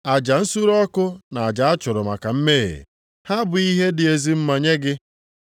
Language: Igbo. Aja nsure ọkụ na aja a chụrụ maka mmehie, ha abụghị ihe dị ezi mma nye gị.